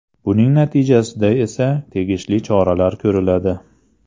Buning natijasida esa tegishli choralar ko‘riladi.